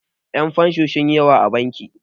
Yan' fensho sunyi yawa a bankin.